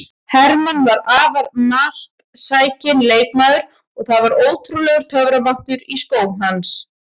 Hermann var afar marksækinn leikmaður og það var ótrúlegur töframáttur í skóm hans.